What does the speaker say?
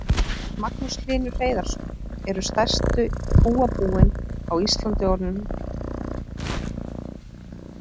Magnús Hlynur Hreiðarsson: Eru stærstu kúabúin á Íslandi orðin og stór að þínu mati?